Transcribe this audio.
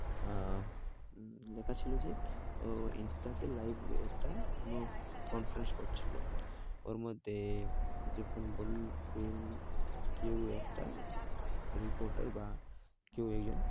আহ লেখা ছিল যে, ও ইন্সটাতে live একটা কোনো conference করছিলো। ওর মধ্যে যখন কেউ কেউ একটা reporter বা কেউ একজন,